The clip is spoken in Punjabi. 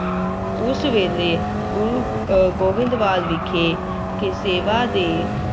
ਉਸ ਵੇਲੇ ਗੁਰੂ ਅਹ ਗੋਬਿੰਦਵਾਲ ਵਿਖੇ ਕਿ ਸੇਵਾ ਦੇ